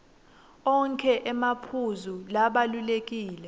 onkhe emaphuzu labalulekile